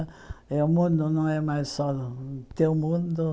Eh o mundo não é mais só o teu mundo.